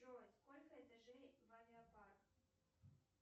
джой сколько этажей в авиапарк